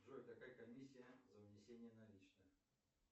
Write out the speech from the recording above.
джой какая комиссия за внесение наличных